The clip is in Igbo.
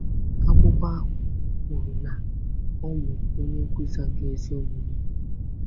Akụkọ ahụ kwuru na ọ bụ “onye nkwusa nke ezi omume.”